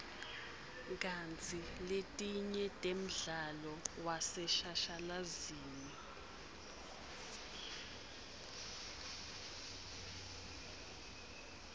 kantsi letinye temdlalo waseshashalazini